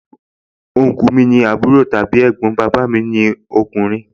Ọnkúù mi ni àbúrò tàbí ẹ̀gbọ́n bàbà mi lọ́kùnrin